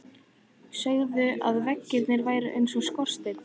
Sögðu að veggirnir væru eins og skorsteinn.